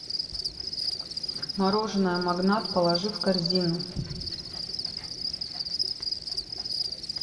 мороженое магнат положи в корзину